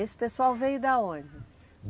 Esse pessoal veio da onde?